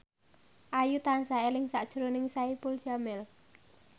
Ayu tansah eling sakjroning Saipul Jamil